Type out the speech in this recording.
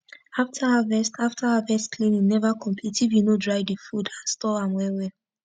after harvest after harvest cleaning never complete if u no dry d food and store am well well